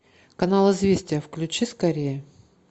канал известия включи скорее